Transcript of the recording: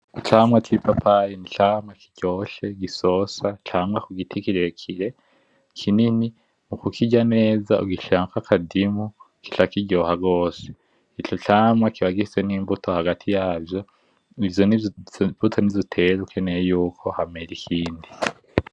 Icamwa cipapaye, nicamwa kiryoshe, gisosa, camwa kugiti kirekire, kinini. Mukukirya neza ugishirako akadimu kica kiryoha rwose. Ico camwa kiba gifise nimbuto hagati yazo ivyo nizo mbuto nizo utera ukenera yuko hamera ikindi.